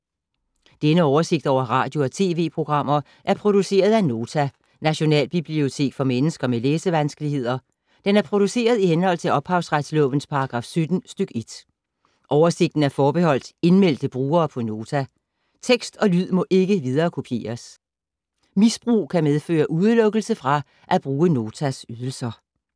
Denne oversigt over radio og TV-programmer er produceret af Nota, Nationalbibliotek for mennesker med læsevanskeligheder. Den er produceret i henhold til ophavsretslovens paragraf 17 stk. 1. Oversigten er forbeholdt indmeldte brugere på Nota. Tekst og lyd må ikke viderekopieres. Misbrug kan medføre udelukkelse fra at bruge Notas ydelser.